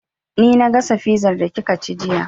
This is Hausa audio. Ni na gasa fizar da kika ci jiya